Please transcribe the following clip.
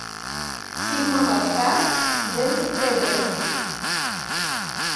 фильм аватар джеймса кэмерона